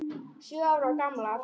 Sjö ára gamlar.